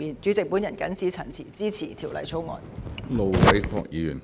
主席，我謹此陳辭，支持《條例草案》。